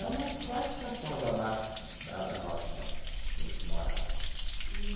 É umas quatro estações abaixo da da nossa lá, onde a gente morava.